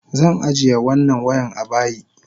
Zan ajiye wannan wayan abayi.